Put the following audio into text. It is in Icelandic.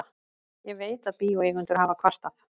Ég veit, að bíóeigendur hafa kvartað.